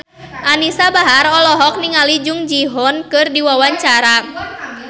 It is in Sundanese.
Anisa Bahar olohok ningali Jung Ji Hoon keur diwawancara